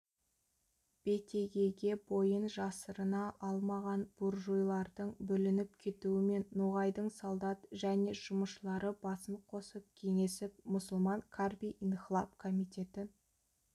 бетегеге бойын жасырына алмаған буржуйлардың бүлініп кетуімен ноғайдың солдат және жұмысшылары басын қосып кеңесіп мұсылман қарби инхлап комитетін